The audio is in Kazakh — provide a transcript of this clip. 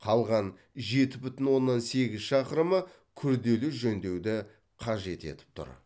қалған жеті бүтін оннан сегіз шақырымы күрделі жөндеуді қажет етіп тұр